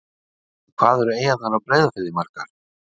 Já, en hvað eru eyjarnar á Breiðafirði margar?